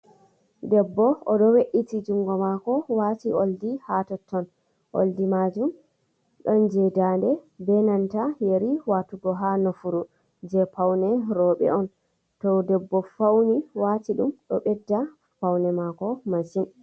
Debbo oɗo we’iti jungo maako waati oldi ha totton, oldi majum ɗon jei ndande be nanta yeri watugo ha nofuru, jei paune rooɓe on, to debbo fauni waati ɗum ɗo ɓedda paune maako masin.